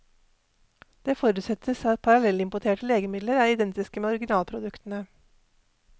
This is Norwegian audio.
Det forutsettes at parallellimporterte legemidler er identiske med originalproduktene.